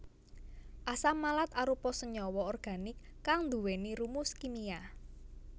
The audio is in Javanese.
Asam malat arupa senyawa organik kang nduwèni rumus kimia